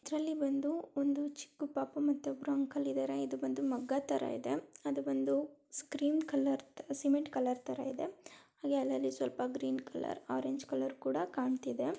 ಇದರಲ್ಲಿ ಬಂದು ಒಂದು ಚಿಕ್ಕು ಪಾಪು ಮತ್ತೆ ಒಬ್ರು ಅಂಕಲ್ ಇದಾರೆ. ಇದು ಬಂದು ಮಗ್ಗ ತರ ಇದೆ. ಅದು ಬಂದು ಸ್ಕ್ರೀಮ್ ಕಲರ್ ಸಿಮೆಂಟ್ ಕಲರ್ ತರ ಇದೆ ಹಾಗೆ ಅಲ್ಲಲ್ಲಿ ಸ್ವಲ್ಪ ಗ್ರೀನ್ ಕಲರ್ ಆರೆಂಜ್ ಕಲರ್ ಕೂಡ ಕಾಣತ್ತಿದೆ.